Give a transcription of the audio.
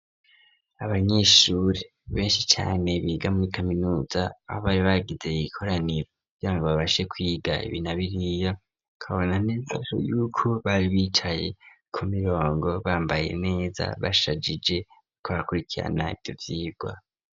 Abanyeshuri benshi cane biga muri kaminuza aho bari bagize ikoraniro kugira ngo babashe kwiga ibi na biriya, ukabona neza yuko bari bicaye ku mirongo bambaye neza bashajije, bariko barakurikirana ivyo vyigwa.